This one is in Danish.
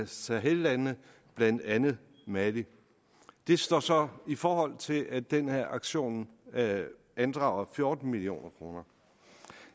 sahellandene blandt andet mali det står så i forhold til at den her aktion andrager fjorten million kroner